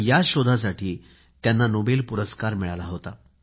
या शोधासाठी त्यांना नोबेल पुरस्कार मिळाला होता